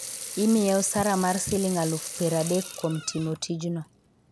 imiye osara mar siling alufu piero adek kuom timo tijno